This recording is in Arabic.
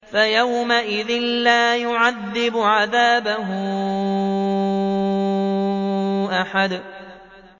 فَيَوْمَئِذٍ لَّا يُعَذِّبُ عَذَابَهُ أَحَدٌ